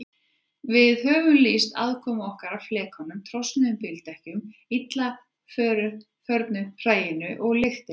Við höfum lýst aðkomu okkar að flekanum, trosnuðum bíldekkjunum, illa förnu hræinu og lyktinni.